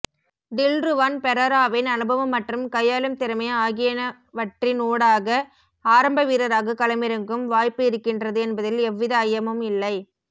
டில்ருவான் பெரெராவின் அனுபவம் மற்றும் கையாளும்திறமை ஆகியனவற்றினூடாக ஆரம்ப வீரராக களமிறங்கும் வாய்ப்பு இருக்கின்றது என்பதில் எவ்வித ஐயமும் இல்லை